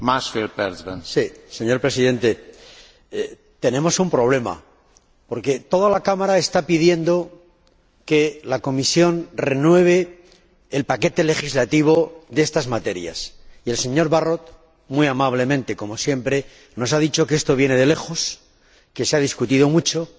Señor Presidente, tenemos un problema, porque toda la Cámara está pidiendo que la Comisión renueve el paquete legislativo de estas materias y el señor Barrot, muy amablemente, como siempre, nos ha dicho que esto viene de lejos, que se ha discutido mucho y que el 1 de enero